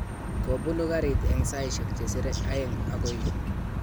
Kobunu garit eng saishek chesire aeng okoi yu.